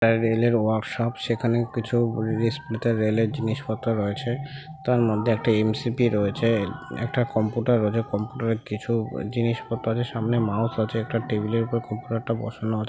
একটা রেলের ওয়ার্কশপ সেখানে কিছু রিষ্টনইতে রেল -এর জিনিস পত্র রয়েছে তার মধ্যে একটা এম.সি.পি রয়েছে একটা কম্পিউটার রয়েছে কম্পিউটার -এ কিছু জিনিস পত্র আছে সামনে মাউস আছে একটা টেবিলের উপর খুব বড়ো একটা বসানো আছ--